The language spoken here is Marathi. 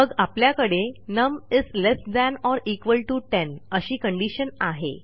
मग आपल्याकडे नम्ल्ट 10 अशी कंडिशन आहे